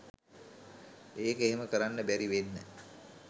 ඒක එහෙම කරන්න බැරි වෙන්න